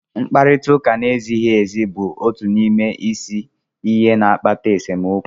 Mkparịta ụka na-ezighị ezi bụ otu n'ime isi ihe na-akpata esemokwu